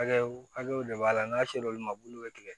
Hakɛw hakɛw de b'a la n'a ser'olu ma buluw bɛ tigɛ